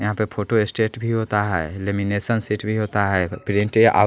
यहां पे फोटोस्टेट भी होता है लेमिनेशन सीट भी होता है प्रिंटे आउ --